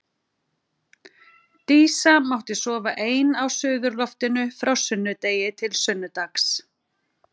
Dísa mátti sofa ein á suðurloftinu frá sunnudegi til sunnudags.